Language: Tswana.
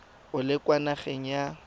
o le kwa nageng ya